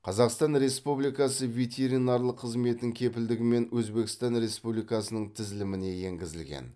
қазақстан республикасы ветеринарлық қызметінің кепілдігімен өзбекстан республикасының тізіліміне енгізілген